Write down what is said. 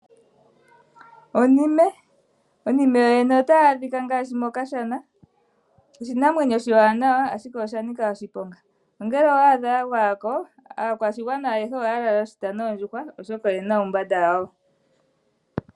Onime. Onime yoyene otayi adhika ngaashi mokashana. Oshinamwenyo oshiwanawa ashike osha nika oshiponga. Nongele owa adha ya gwaya ko, aakwashigwana ayehe ohaya kala oshita noondjuhwa oshoka oye na uumbanda wayo.